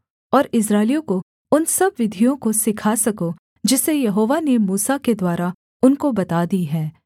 और इस्राएलियों को उन सब विधियों को सिखा सको जिसे यहोवा ने मूसा के द्वारा उनको बता दी हैं